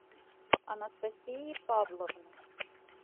анастасии павловны